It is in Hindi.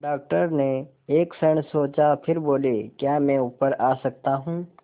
डॉक्टर ने एक क्षण सोचा फिर बोले क्या मैं ऊपर आ सकता हूँ